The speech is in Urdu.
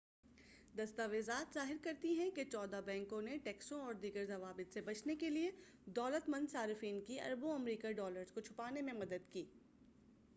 دستاویزات ظاہر کرتی ہیں کہ چودہ بینکوں نے ٹیکسوں اور دیگر ضوابط سے بچنے کے لیے دولت مند صارفین کی اربوں امریکی ڈالرز کو چھپانے میں مدد کی